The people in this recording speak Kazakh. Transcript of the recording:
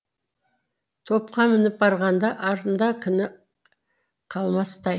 топқа мініп барғанда артында кіні қалмастай